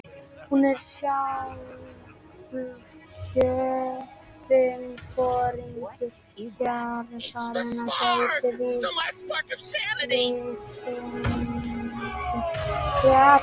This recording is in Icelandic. Hún er sjálfkjörinn foringi hjarðarinnar- gædd vitsmunum, fjöri, djörfung, framtaki og umhyggju fyrir hópnum.